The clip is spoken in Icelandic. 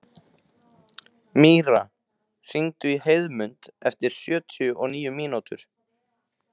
Míra, hringdu í Heiðmund eftir sjötíu og níu mínútur.